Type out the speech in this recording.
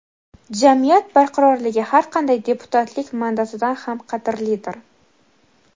jamiyat barqarorligi har qanday deputatlik mandatidan ham qadrlidir.